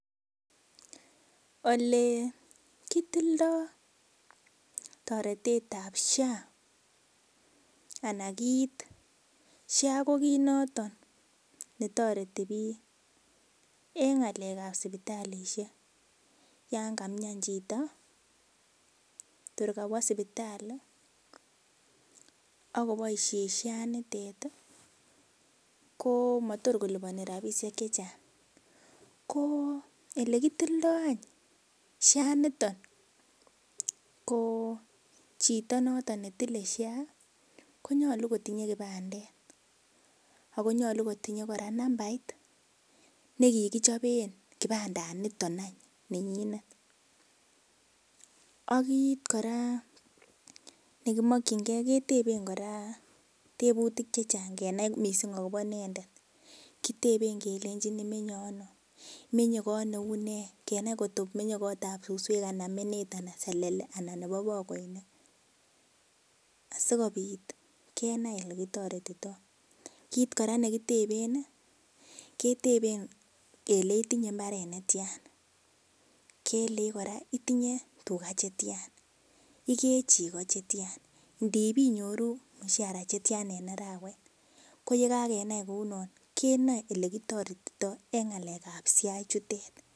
Ole kitildoi toretet ap sha ana kiit sha ko kiit noton netoreti biik eng ng'alek ap sipitalishek yan kaimian chito tor kawo sipitalli akoboishen sha nitet ko tor malipani ropisiek che chang ko ele kitildoi anyun sha niton ko chito noton netilei sha konyolu kotinyei kipandet ako nyolu kotinyei kora nambait nekikichopen kipanda niton an nenyinet akiipu kora nekimokchingei tebutik chechang kenai mising akobo inendet kitepen kelengin imenye ano imenye koot neu ne kenai kotko menyei koot ap suswek anan menet anan selele anan nebo pakoinik asikopit kenai olekitoretitoi kiit kora nekiteben keteben kele itinye mbaret netain kelech kora itinye tuga chetia ikee chego chetiana ndepinyoru mshara chetian en arawet ko yekakenai kounon kenoe olekitoretitoi eng ng'alek ap sha chutet